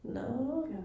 Nåh